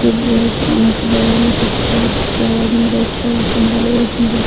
वहां पे बगल में कुर्शी एवं आदमी बैठा हुआ है पंडाल बहुत सुंदर --